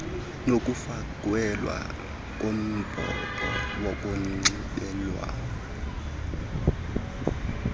nokufakelwa kombhobho wokunxibelela